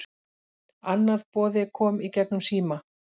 Annað boði kom í gegnum síma